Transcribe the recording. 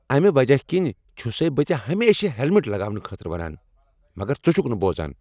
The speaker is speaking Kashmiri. امہ وجہ كِنہِ چُھسٕے بہٕ ژےٚ ہمیشہٕ ہیلمٹ لگاونہٕ خٲطرٕ ونان، مگر ژٕ چُھكھ نہٕ بوزان۔